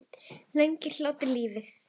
Lengir hlátur lífið?